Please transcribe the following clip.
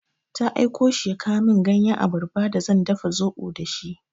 Ta aiko shi ya kawo min ganyan abarba d zan dafa zaɓo da shi.